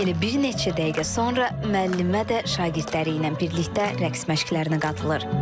Elə bir neçə dəqiqə sonra müəllimə də şagirdləri ilə birlikdə rəqs məşqlərinə qatılır.